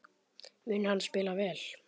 Mun hann spila vel?